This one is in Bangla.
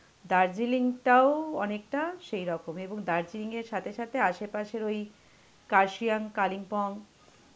দার্জিলিংটাও অনেকটা সেইরকমই এবং দার্জিলিংয়ের সাথে সাথে আশেপাশের ওই কার্শিয়াং, কালিম্পং